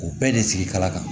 U bɛɛ de sigi kala kan